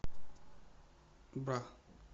бра